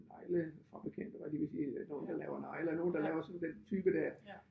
Neglefabrikanter var jeg lige ved at sige nogle der laver negle og nogle der laver sådan den type der